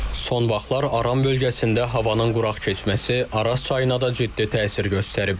Son vaxtlar Aran bölgəsində havanın quraq keçməsi Araz çayına da ciddi təsir göstərib.